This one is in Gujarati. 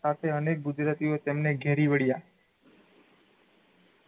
સાથે અનેક ગુજરાતીઓ એ તેમણે ઘેરી વળ્યાં